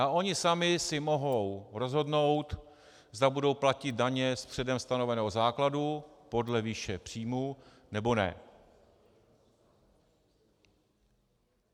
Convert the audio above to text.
A oni sami si mohou rozhodnout, zda budou platit daně z předem stanoveného základu podle výše příjmů, nebo ne.